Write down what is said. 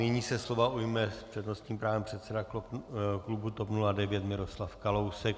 Nyní se slova ujme s přednostním právem předseda klubu TOP 09 Miroslav Kalousek.